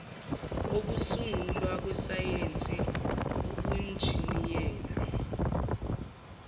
okusungulwa kwesayensi ubunjiniyela